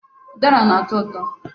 Ụdara na-atọ ụtọ.